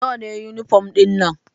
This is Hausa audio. Nawa ne yunifom ɗin nan?